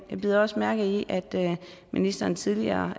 jeg bider også mærke i at ministeren tidligere